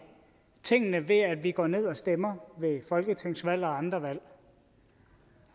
tingene ved at vi går ned og stemmer ved folketingsvalg og andre valg